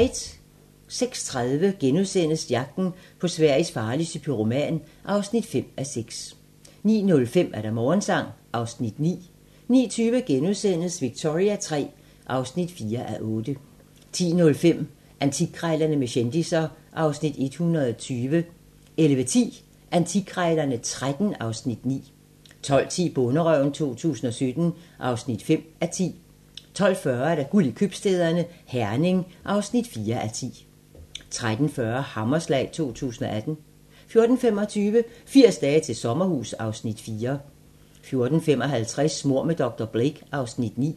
06:30: Jagten på Sveriges farligste pyroman (5:6)* 09:05: Morgensang (Afs. 9) 09:20: Victoria III (4:8)* 10:05: Antikkrejlerne med kendisser (Afs. 120) 11:10: Antikkrejlerne XIII (Afs. 9) 12:10: Bonderøven 2017 (5:10) 12:40: Guld i købstæderne - Herning (4:10) 13:40: Hammerslag 2018 14:25: 80 dage til sommerhus (Afs. 4) 14:55: Mord med dr. Blake (Afs. 9)